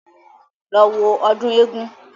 Lọ wo ọdún eégún